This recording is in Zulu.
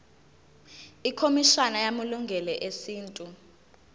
ikhomishana yamalungelo esintu